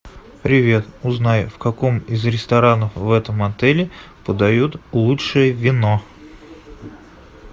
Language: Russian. привет узнай в каком из ресторанов в этом отеле подают лучшее вино